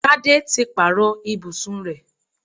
Tádé ti pàrọ̀ ibùsùn rẹ̀